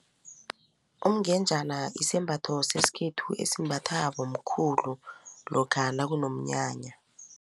Umngenjana isembatho sesikhethu esimbathwa bomkhulu lokha nakunomnyanya.